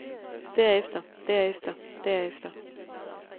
derefter derefter derefter